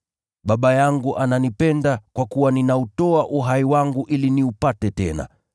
Baba yangu ananipenda kwa kuwa ninautoa uhai wangu ili niupate tena.